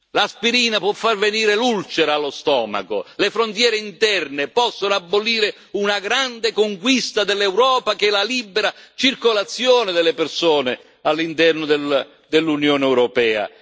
L'aspirina può far venire l'ulcera allo stomaco le frontiere interne possono abolire una grande conquista dell'Europa che è la libera circolazione delle persone all'interno dell'Unione europea.